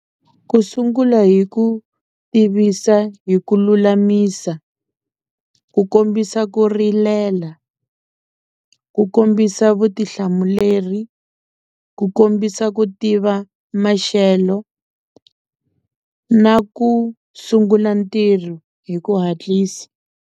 Ku sungula hi ku tivisa hi ku lulamisa, ku kombisa ku rilela, ku kombisa vutihlamuleri, ku kombisa ku tiva maxelo na ku sungula ntirho hi ku hatlisa.